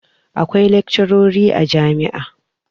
akwai laccori a jami`a